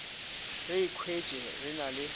re ikhwetše re na le